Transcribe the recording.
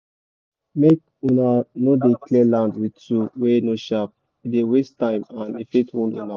make una no dey clear land with tool wey no sharp e dey waste time and e fit wound una